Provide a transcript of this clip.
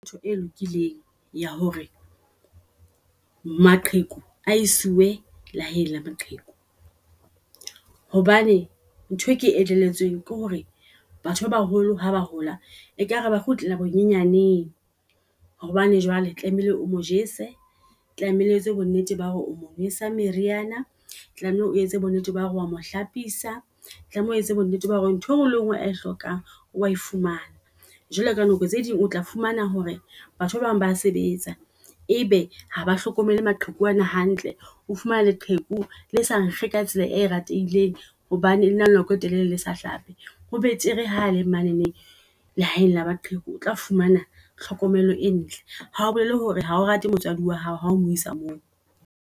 Ntho e lokileng ya hore maqheku a i siwe lehaeng la maqheku. Hobane ntho e ke elelletsweng ke hore batho ba baholo ha ba hola ekare ba kgutlela bonyenyaneng. Hobane jwale tlamehile o mo jese, tlamehile o etse bonnete ba hore o mo jesa meriana, tlamehile o etse bo nnete ba hore oa mo hlapisa, tlameha o etse bo nnete ba hore ntho engwe le ngwe eo a e hlokang oa e fumana. Jwale ka nako tse ding o tla fumana hore batho ba bang ba sebetsa ebe ha ba hlokomele maqheku ana hantle. O fumana leqheku le sa nkge ka tsela e ratileng hobane lena lenako e telele le sa hlape. Ho betere hale manene lehaeng la maqheku otla fumana tlhokomelo e ntle. Hao bolele hore hao rate motswadi wa hao hao mo isa moo.